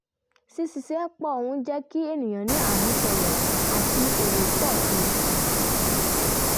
ṣíṣiṣẹ́ pọ̀ ń jẹ́ kí ènìyàn ní àmúṣọrọ̀ àti èrè pọ̀ sí i